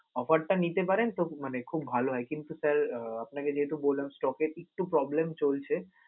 offer টা নিতে পারেন মানে তো খুব ভালো হয়, কিন্তু sir আহ আপনাকে যেহেতু বললাম stock এর একটু problem চলছে